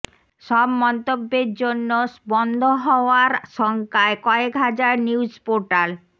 সব মন্তব্যের জন্য বন্ধ হওয়ার শঙ্কায় কয়েক হাজার নিউজ পোর্টাল